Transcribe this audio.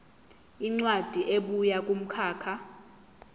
incwadi ebuya kumkhakha